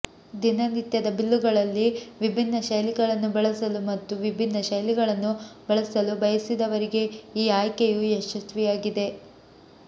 ದಿನನಿತ್ಯದ ಬಿಲ್ಲುಗಳಲ್ಲಿ ವಿಭಿನ್ನ ಶೈಲಿಗಳನ್ನು ಬಳಸಲು ಮತ್ತು ವಿಭಿನ್ನ ಶೈಲಿಗಳನ್ನು ಬಳಸಲು ಬಯಸಿದವರಿಗೆ ಈ ಆಯ್ಕೆಯು ಯಶಸ್ವಿಯಾಗಿದೆ